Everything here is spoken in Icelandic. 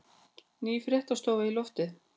Ný fréttastofa í loftið